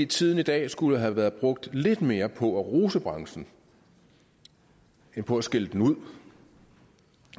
tiden i dag skulle have været brugt lidt mere på at rose branchen end på at skælde dem ud